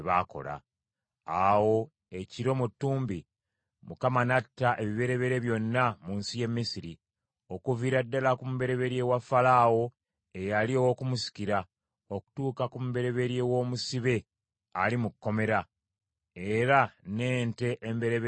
Awo ekiro mu ttumbi Mukama n’atta ebibereberye byonna mu nsi y’e Misiri, okuviira ddala ku mubereberye wa Falaawo eyali ow’okumusikira, okutuuka ku mubereberye w’omusibe ali mu kkomera; era n’ente embereberye zonna.